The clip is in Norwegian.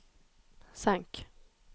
senk